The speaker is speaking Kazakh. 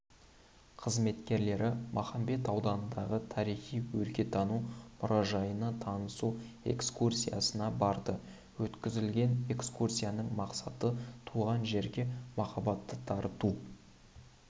қызметкерлері махамбет ауданындағы тарихи өлкетану мұражайына танысу экскурсиясына барды өткізілген экскурсияның мақсаты туған жерге махаббатты дарыту